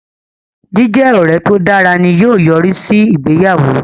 Jíjẹ ọrẹ to dára ni yóò yorisi si ìgbéyàwó